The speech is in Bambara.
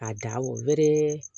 A da o wɛrɛ